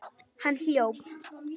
Hann hljóp.